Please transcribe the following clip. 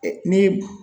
Ni